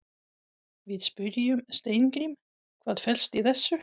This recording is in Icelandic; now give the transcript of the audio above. Við spyrjum Steingrím, hvað fellst í þessu?